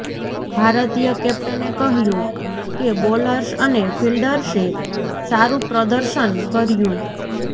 ભારતીય કેપ્ટને કહ્યું કે બોલર્સ અને ફિલ્ડર્સે સારું પ્રદર્શન કર્યું